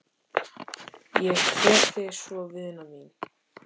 Ég kveð þig svo vina mín.